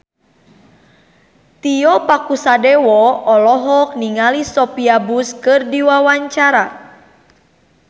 Tio Pakusadewo olohok ningali Sophia Bush keur diwawancara